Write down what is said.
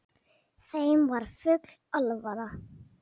Þeim var full alvara.